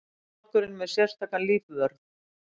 Hárlokkurinn með sérstakan lífvörð